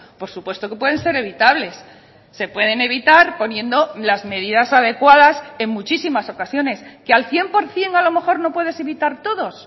por supuesto que pueden ser evitables se pueden evitar poniendo las medidas adecuadas en muchísimas ocasiones que al cien por ciento a lo mejor no puedes evitar todos